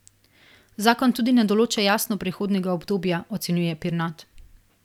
Zakon tudi ne določa jasno prehodnega obdobja, ocenjuje Pirnat.